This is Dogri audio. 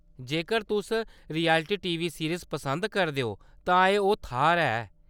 जेकर तुस रियलिटी टीवी सीरीज़ पसंद करदे ओ तां एह्‌‌ ओह् थाह्‌‌‌र ऐ।